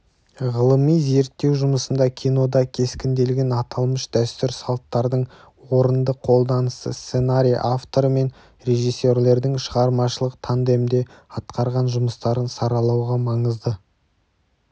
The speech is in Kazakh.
ғылыми зерттеу жұмысында кинода кескінделген аталмыш дәстүр-салттардың орынды қолданысы сценарий авторы мен режссерлердің шығармашылық тандемде атқарған жұмыстарын саралауға маңызды